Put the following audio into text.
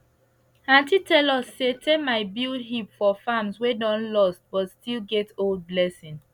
aunty tell us say termite build heap for farms wey don lost but still get old blessing